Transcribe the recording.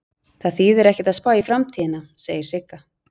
Það þýðir ekkert að spá í framtíðina, segir Sigga.